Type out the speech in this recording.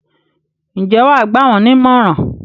Ǹjẹ́ wà á gbà wọ́n ní ìmọ̀ràn?